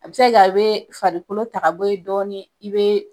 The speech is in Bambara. A bɛ se ka a bɛ farikolo ta ka bɔ ye dɔɔni i bɛ